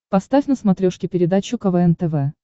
поставь на смотрешке передачу квн тв